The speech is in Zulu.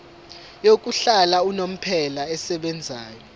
yokuhlala unomphela esebenzayo